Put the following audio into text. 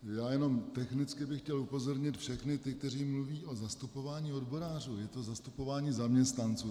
Já jenom technicky bych chtěl upozornit všechny ty, kteří mluví o zastupování odborářů, je to zastupování zaměstnanců.